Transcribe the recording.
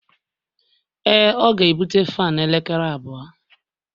Ee, ọ ga-ebute fan n'elekere abụọ